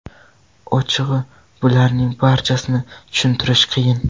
Ochig‘i, bularning barchasini tushuntirish qiyin.